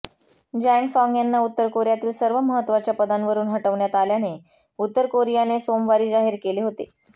Jang Song यांना उत्तरकोरियातील सर्व महत्वाच्या पदांवरुन हटवण्यात आल्याने उत्तरकोरियाने सोमवारी जाहीर केले होते